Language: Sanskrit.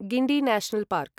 Guindy national park